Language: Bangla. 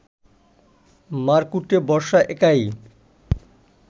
মারকুটে বর্ষা একাই